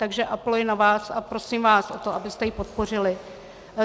Takže apeluji na vás a prosím vás o to, abyste ji podpořili.